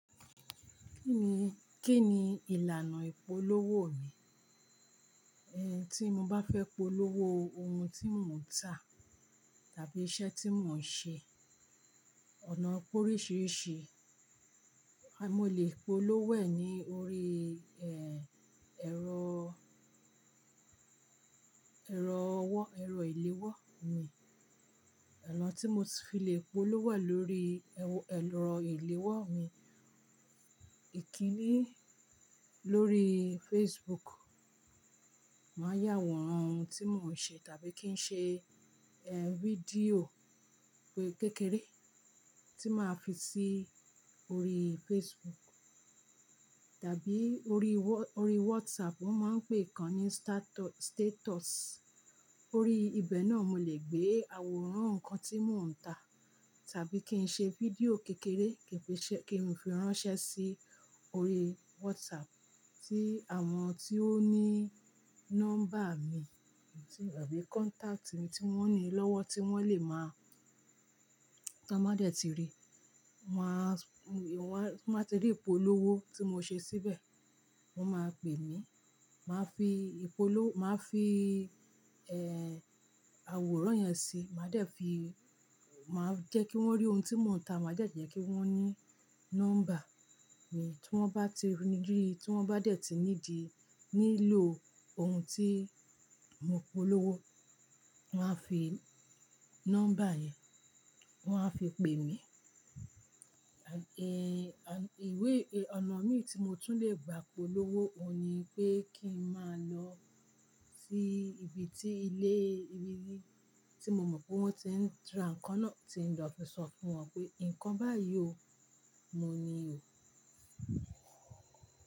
Kí ni, kí ni ìlànà ìpolówó mi? Ehn, tí mo bá fẹ́ polówó ohun tí mò ń tà, tàbí iṣẹ́ tí mò ń ṣe. Ọ̀nà poríṣìíríṣìí, a-- mo lè polówó e ní orí, ehn, ẹ̀rọ, ẹ̀rọ ọwọ́, ẹ̀rọ ìléwọ́ mi. Ona tí mo ti fi lè polówó e lórí, eh, ẹ̀rọ ìléwọ́ mi. Ìkínni lórí Facebook, màá yà awọ́n ohun tí mò ń ṣe tàbí kí n ṣe, ehn, fídíò kékeré tí màá fi sí orí Facebook tàbí orí wha- ori WhatsApp. Wọ́n máa ń pè kan ní statu- status. Orí ibẹ̀ náà mo lè gbé àwòrán nnkan tí mò ń tà tàbí kí n ṣe fídíò kékeré kí n fi ṣe, kí n fi ránṣẹ́ sí orí WhatsApp tí àwọn tí ó ní nọ́mbà mi tàbí kọ́ntáktì mi tí wọ́n ní lọ́wọ́ tí wọ́n lè máa-- tọ́n bá dẹ̀ ti rí, wọ́n a sùn-- wọ́n a ti rí ìpolówó tí mo ṣe síbẹ̀. Wọ́n máa pè mí, màá fi ìpolówó, màá fi, ehn, àwòrán yẹn sí i, màá dẹ̀ fi, màá jẹ́ kí wọ́n rí ohun tí mò ń tà, màá dẹ̀ jẹ́ kí wọ́n ní nọ́mbà mi tí wọ́n bá ti rí, tí wọ́n bá dẹ̀ ti need, nílò ohun tí mo polówó, wọ́n a fi nọ́mbà yẹn, wọ́n á fi pè mí. Ehn, à-- ìwé, ẹ̀, ọ̀nà míi tí mo tún lè gba polówó òun ni pé kí n máa lọ sí ibi tí ilé, ibi tí mo mọ̀ pé wọ́n ti ń ra nǹkan náà, tí n lọ fi sọ fún wọn pé "nǹkan báyìí ò, mo ni o."